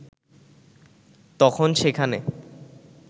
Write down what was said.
তখন সেখানে